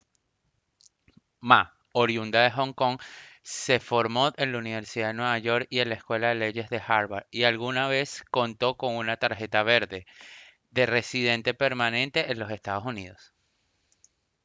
ma oriunda de hong kong se formó en la universidad de nueva york y en la escuela de leyes de harvard y alguna vez contó con una «tarjeta verde» de residente permanente en los estados unidos